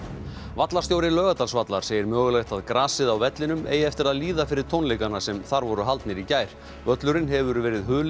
vallarstjóri Laugardalsvallar segir mögulegt að grasið á vellinum eigi eftir að líða fyrir tónleikana sem þar voru haldnir í gær völlurinn hefur verið hulinn